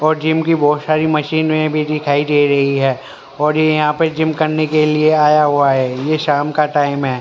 और जिम की बहोत सारी मशीने भी दिखाई दे रही है और ये यहाँ पे जिम करने के लिए आया हुआ है ये शाम का टाइम हैं।